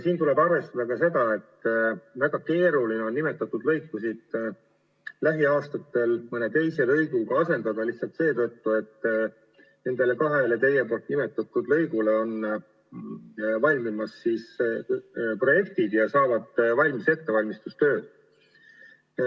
Siin tuleb arvestada ka seda, et väga keeruline on neid lõikusid lähiaastatel mõne teise lõiguga asendada – lihtsalt seetõttu, et nendele kahele teie nimetatud lõigule on valmimas projektid ja saavad tehtud ettevalmistustööd.